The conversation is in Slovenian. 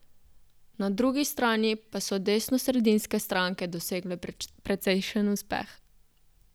Na drugi strani pa so desnosredinske stranke dosegle precejšen uspeh.